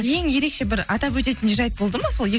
ең ерекше бір атап өтетін жайт болды ма сол